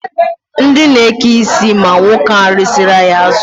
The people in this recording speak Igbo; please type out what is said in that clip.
Ndị na-eke isi ma nwoke ahụ resiri anyị azụ.